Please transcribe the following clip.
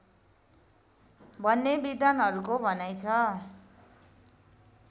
भन्ने विद्वानहरूको भनाइ छ